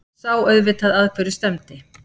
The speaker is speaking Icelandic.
Sá auðvitað að hverju stefndi.